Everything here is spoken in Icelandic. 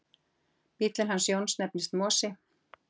Bíllinn hans Jóns nefnist Mosi.